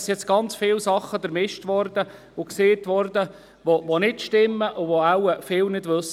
Es sind jetzt ganz viele Dinge vermischt und es ist vieles gesagt worden, das nicht stimmt und wahrscheinlich viele nicht wissen.